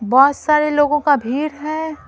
बहुत सारे लोगों का भीड़ है ।